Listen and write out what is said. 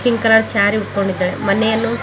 pink colour sari ಉಟ್ಕೊಂಡಿದ್ದಾಳೆ ಮನೆಯನ್ನು--